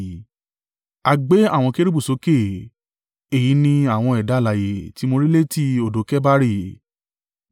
A gbé àwọn kérúbù sókè. Èyí ni àwọn ẹ̀dá alààyè tí mo rí létí odò Kebari.